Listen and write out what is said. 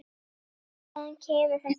Hvaðan kemur þetta verð?